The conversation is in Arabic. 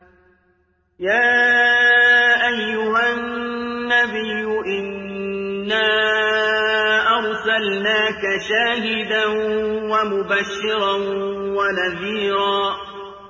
يَا أَيُّهَا النَّبِيُّ إِنَّا أَرْسَلْنَاكَ شَاهِدًا وَمُبَشِّرًا وَنَذِيرًا